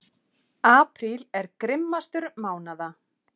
Apríl er grimmastur mánaða.